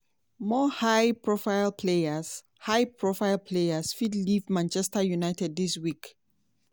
more high-profile players high-profile players fit leave manchester united dis week.